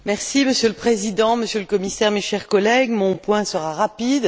Monsieur le Président, Monsieur le Commissaire, chers collègues, mon point sera rapide.